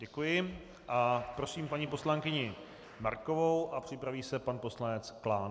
Děkuji a prosím paní poslankyni Markovou a připraví se pan poslanec Klán.